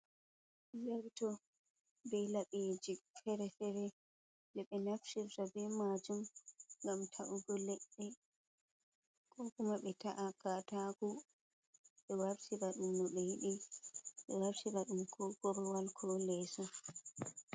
Zarto, be laɓeji fere-fere ɗe ɓe naftirta be maajum ngam ta’ugo leɗɗe ko kuma ɓe ta’a katako ɓe wartira ɗum no ɓe yiɗi, ɓe wartira ɗum ko korowal ko leeso.